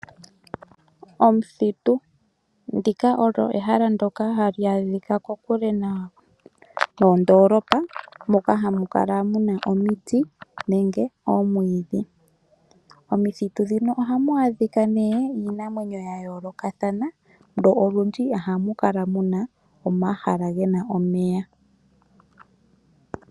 Omuthitu Ndika olyo ehala ndyoka hali adhika kokule noondoolopa moka hamu kala mu na omiti nenge oomwiidhi. Momithitu muno ohamu adhika nee iinamwenyo ya yoolokathana nolundji ohamu kala mu na omahala ge na omeya.